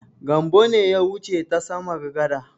Gambo ne ya wuce ta samar gada.